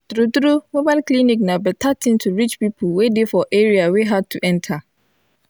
true true mobile clinic na better thing to reach people wey dey for area wey hard to enter